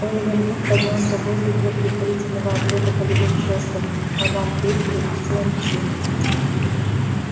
оливер вуд поднялся в воздух для предварительного облёта полевых шестов мадам трюк выпустила мячи